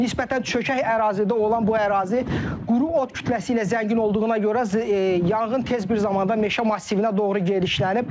Nisbətən çökək ərazidə olan bu ərazi quru ot kütləsi ilə zəngin olduğuna görə yanğın tez bir zamanda meşə massivinə doğru gedişlənib.